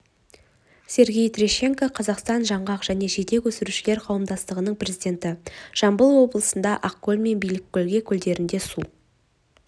сергей терещенко қазақстан жаңғақ және жидек өсірушілер қауымдастығының президенті жамбыл облысында ақкөл мен биліккөл көлдерінде су